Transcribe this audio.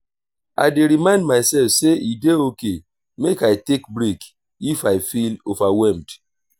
i dey remind myself sey e dey okay make i take break if i feel overwhelmed.